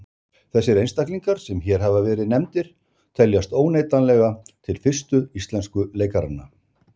Þessir einstaklingar sem hér hafa verið nefndir teljast óneitanlega til fyrstu íslensku leikaranna.